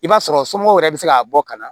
I b'a sɔrɔ somɔgɔw yɛrɛ bɛ se ka bɔ ka na